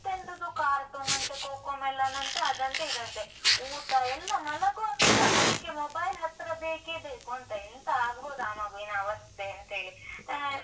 ಎಂತೆಂತದೋ cartoon ಅಂತೆ Cocomelon ಅಂತೆ, ಅದಂತೆ, ಇದಂತೆ. ಊಟ ಎಲ್ಲ ಮಲಗುವಾಗಸ ಅದಿಕ್ಕೆ mobile ಹತ್ರ ಬೇಕೇ ಬೇಕೂಂತ. ಎಂತ ಆಗ್ಬೋದು ಆ ಮಗುವಿನ ಅವಸ್ಥೆ ಅಂತೇಳಿ. ಅಹ್